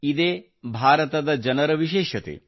ಇದೇ ಭಾರತದ ಜನರ ವಿಶೇಷತೆ